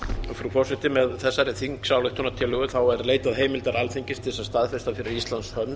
frú forseti með þessari þingsályktunartillögu er leitað heimildar alþingis til að staðfesta fyrir íslands hönd